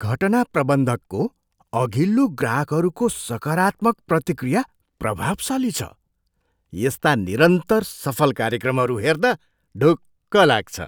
घटना प्रबन्धकको अघिल्लो ग्राहकहरूको सकारात्मक प्रतिक्रिया प्रभावशाली छ। यस्ता निरन्तर सफल कार्यक्रमहरू हेर्दा ढुक्क लाग्छ।